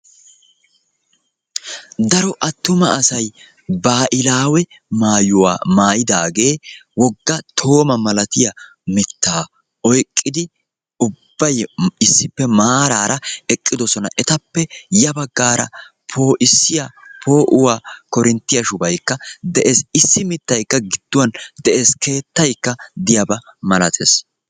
Daro attuma asayi baahilaawe maayuwa maayidaagee wogga toomaa malatiya mittaa oyqqidi ubbayi issippe maaraara eqqidosona. Etappe ya baggaara poo'issiya poo'uwa Korinttiya shubayikka de"es. Issi mittaykka gidduwan de'es. Keettaykka diyaba malates.